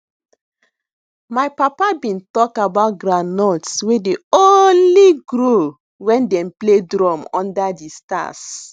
my papa been talk about groundnuts wey dey only grow wen dem play drum under the stars